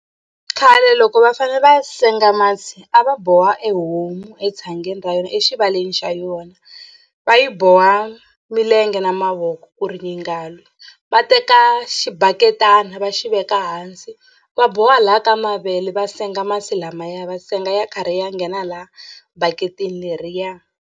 Khale loko va fanele va senga masi a va boha e homu etshangeni ra yona exivaleni xa yona va yi boha milenge na mavoko ku ri yi nga lwi va teka xibaketani va xi veka hansi va boha laha ka mavele va senga masi lamaya va senga ya karhi ya nghena laha bakitini leriya.